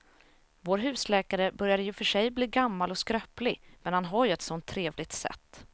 Vår husläkare börjar i och för sig bli gammal och skröplig, men han har ju ett sådant trevligt sätt!